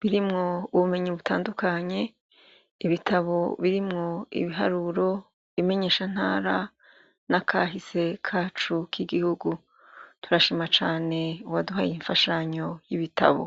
birimwo ubumenyi butandukanye, ibitabo birimwo ibiharuro bimenyeshantara n'akahise kacu kigihugu turashima cane uwaduhaye iyi nfashanyo yibitabo.